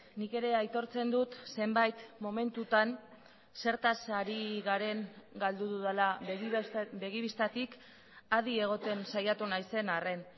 nik ere aitortzen dut zenbait momentutan zertaz ari garen galdu dudala begi bistatik adi egoten saiatu naizen arren